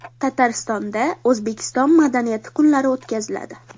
Tataristonda O‘zbekiston madaniyati kunlari o‘tkaziladi.